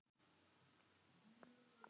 Hekla í öllu sínu valdi!